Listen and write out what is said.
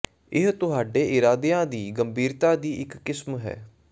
ਇਹ ਤੁਹਾਡੇ ਇਰਾਦਿਆਂ ਦੀ ਗੰਭੀਰਤਾ ਦੀ ਇਕ ਕਿਸਮ ਹੈ